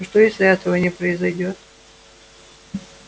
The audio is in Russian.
и что если этого не произойдёт